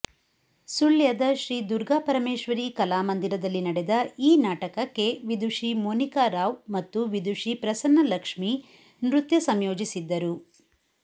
ಸುಳ್ಯದ ಶ್ರೀದುರ್ಗಾಪರಮೇಶ್ವರಿ ಕಲಾ ಮಂದಿರದಲ್ಲಿ ನಡೆದ ಈ ನಾಟಕಕ್ಕೆ ವಿದುಷಿ ಮೋನಿಕಾ ರಾವ್ ಮತ್ತು ವಿದುಷಿ ಪ್ರಸನ್ನಲಕ್ಷ್ಮೀ ನೃತ್ಯ ಸಂಯೋಜಿಸಿದ್ದರು